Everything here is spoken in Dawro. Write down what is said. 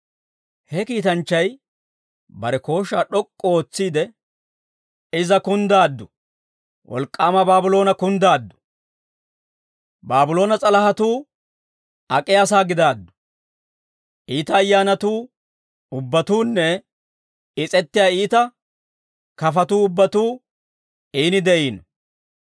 He kiitanchchay bare kooshshaa d'ok'k'u ootsiide, «Iza kunddaaddu! Wolk'k'aama Baabloona kunddaaddu! Baabloona s'alahatuu ak'iyaasaa gidaaddu; iita ayyaanatuu ubbatuunne, is'ettiyaa iita kafatuu ubbatuu iini de'iino.